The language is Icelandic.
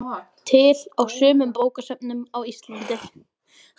Til á sumum bókasöfnum á Íslandi.